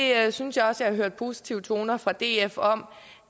jeg synes også at jeg positive toner fra df om